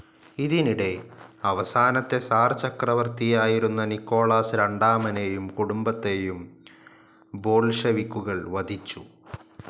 ഇതിനിടെ അവസാനത്തെ സിർ ചക്രവർത്തിയായിരുന്ന നിക്കോളാസ് രണ്ടാമനേയും കുടുംബത്തേയും ബോൾഷെവിക്കുകൾ വധിച്ചു.